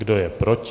Kdo je proti?